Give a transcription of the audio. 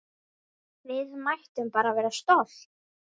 Við mættum bara vera stolt!